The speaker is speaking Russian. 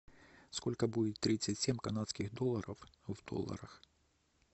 сколько будет тридцать семь канадских долларов в долларах